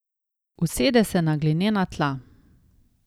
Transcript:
Usede se na glinena tla.